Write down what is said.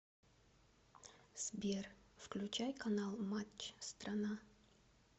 сбер включай канал матч страна